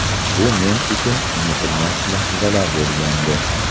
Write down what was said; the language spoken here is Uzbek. Bu men uchun unutilmas lahzalar bo‘lgandi.